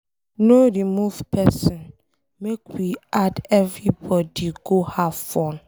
No remove person, make we add everybody go have fun